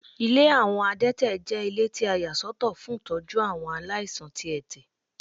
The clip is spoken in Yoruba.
Ilé àwọn adẹ́tẹ̀ jẹ́ ilé tí a yà sọ́tọ̀ fún tọ́jú àwọn aláìsàn tí ẹ̀tẹ̀.